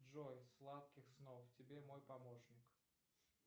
джой сладких снов тебе мой помощник